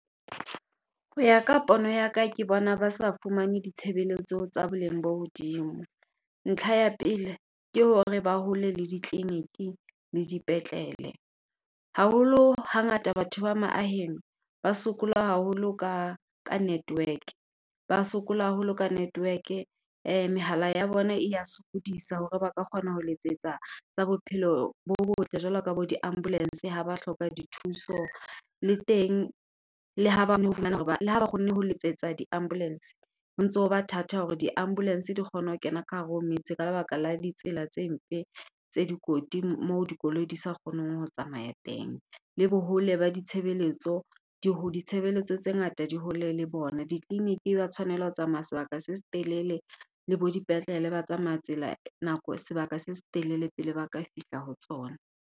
Ho ya ka pono ya ka, ke bona ba sa fumane ditshebeletso tsa boleng bo hodimo. Ntlha ya pele, ke hore ba hole le ditleliniki le dipetlele. Haholo, hangata batho ba maaheng ba sokola haholo ka network, ba sokola haholo ka network-e, mehala ya bona e ya sokodisa hore ba ka kgona ho letsetsa tsa bophelo bo botle jwalo ka bo di-ambulense ha ba hloka dithuso. Le teng, le ha , le ha ba kgonne ho letsetsa di-ambulence, ho ntso ba thata hore di ambulence di kgone ho kena ka hare ho metse ka lebaka la ditsela tse mpe, tse dikoti moo dikoloi di sa kgoneng ho tsamaya teng. Le bo hole ba ditshebeletso, di , ditshebeletso tse ngata di hole le bona, ditleliniki ba tshwanela ho tsamaya sebaka se setelele, le bo dipetlele ba tsamaya tsela nako, sebaka se setelele pele ba ka fihla ho tsona.